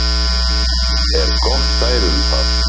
er gott dæmi um það.